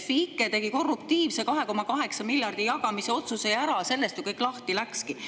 Refi ike tegi korruptiivse 2,8 miljardi jagamise otsuse ju ära, sellest kõik lahti läkski.